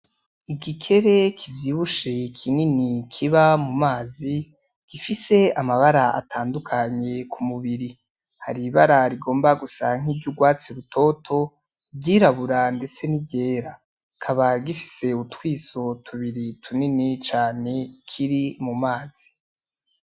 Igikere kivyibushe kinini kiba mu mazi gifise amabara atandukanye ku mubiri hari ibara rigomba gusa nk’iryugwatsi rutoto, iryirabura ndetse N’iryera, kikaba gifise utwiso tubiri tunini cane kiri mu mazi .